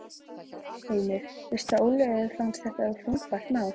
Heimir: Veistu að Ólöfu fannst þetta þungbært mál?